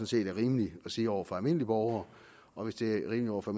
set er rimeligt at sige over for almindelige borgere og hvis det er rimeligt over for